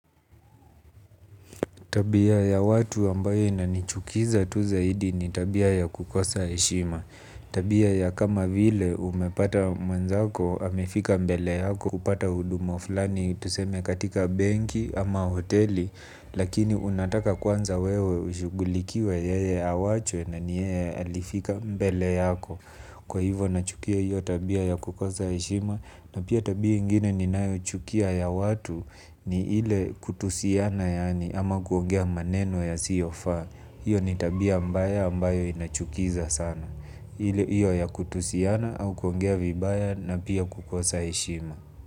Tabia ya watu ambayo inanichukiza tu zaidi ni tabia ya kukosa heshima. Tabia ya kama vile umepata mwenzako amefika mbele yako kupata huduma fulani tuseme katika benki ama hoteli. Lakini unataka kwanza wewe ushughulikiwe yeye awachwe na ni yeye alifika mbele yako. Kwa hivo nachukia hiyo tabia ya kukosa heshima na pia tabia ingine ni nayo chukia ya watu ni ile kutusiana yaani ama kuongea maneno yasiofaa. Hiyo ni tabia mbaya ambayo inachukiza sana. Hiyo ya kutusiana au kuongea vibaya na pia kukosa heshima.